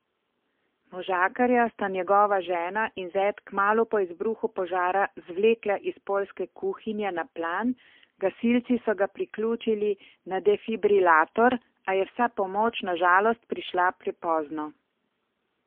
Možakarja sta njegova žena in zet kmalu po izbruhu požara zvlekla iz poljske kuhinje na plan, gasilci so ga priključili na defibrilator, a je vsa pomoč na žalost prišla prepozno.